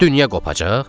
Dünya qopacaq?